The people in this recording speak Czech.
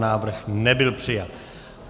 Návrh nebyl přijat.